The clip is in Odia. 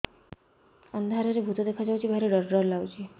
ଅନ୍ଧାରରେ ଭୂତ ଦେଖା ଯାଉଛି ଭାରି ଡର ଡର ଲଗୁଛି